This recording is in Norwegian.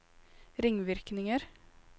ringvirkninger